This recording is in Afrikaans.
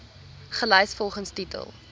gelys volgens titel